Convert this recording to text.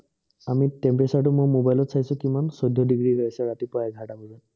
আমি temperature মই mobile ত কিমান চৈধ্য ডিগ্ৰী হৈ আছে ৰাতিপুৱা এঘাৰ টা বজাত